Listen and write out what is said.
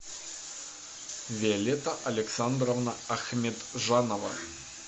виолетта александровна ахметжанова